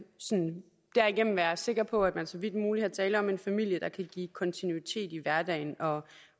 derigennem være sikker på at der så vidt muligt er tale om en familie der kan give kontinuitet i hverdagen